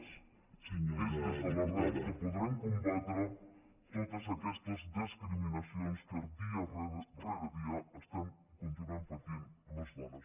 és des de l’arrel que podrem combatre totes aquestes discriminacions que dia rere dia estem continuem patint les dones